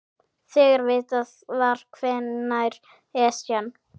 Þegar vitað var hvenær Esjan